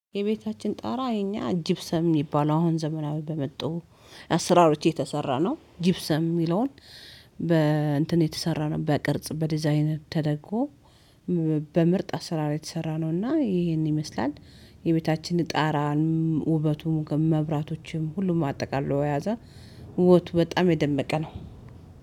የቤታችን ጣራ የኛ ጅብሰም የሚባለው አሁን ዘመናዊ በመጡ አስራሮች የተሰራ ነው። ጅብሰም የሚለውን በ እንትን የተሰራ ነው በቅርጽ በዲዛይን ተደግጎ፣ በምርጥ አስራ የተሰራ ነው፤ እና ይሄን ይመስላል። የቤታችን ጣራን፣ ውበቱም፣ መብራቶችም፣ ሁሉም አጠቃሎ የያዛ ውበቱ በጣም የደመቀ ነው።